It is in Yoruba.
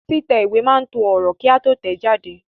Títẹ̀ ìwé máa to ọ̀rọ̀ kí a tó tẹ̀ẹ́ jáde